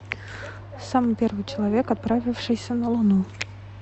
самый первый человек отправившийся на луну